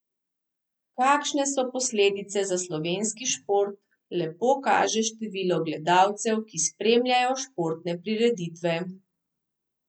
Kakšne so posledice za slovenski šport, lepo kaže število gledalcev, ki spremljajo športne prireditve.